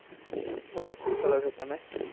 બોલો શું કરો છો તમે?